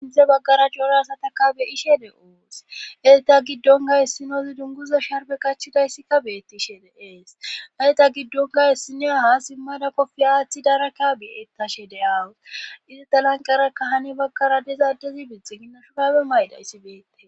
Sinthe baggara joora asataka beyishe de7ous eyta giddon ga hessinozi dunguza sharbe qachidayssikka beettishe de7ees hayta giddon ga hessineya ha simmada pofiyaathi daraka beetashe de aawus izi talanqarakka hani baggara dezaaddezi bitxe ginnashudabe maydayssi beette